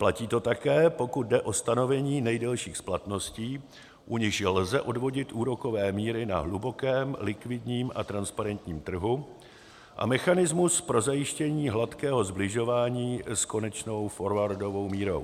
Platí to také, pokud jde o stanovení nejdelších splatností, u nichž lze odvodit úrokové míry na hlubokém likvidních a transparentním trhu a mechanismus pro zajištění hladkého sbližování s konečnou forwardovou mírou.